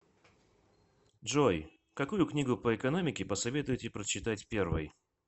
джой какую книгу по экономике посоветуете прочитать первой